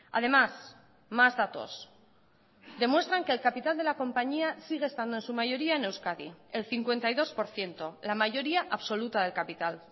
además más datos demuestran que el capital de la compañía sigue estando en su mayoría en euskadi el cincuenta y dos por ciento la mayoría absoluta del capital